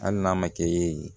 Hali n'a ma kɛ yen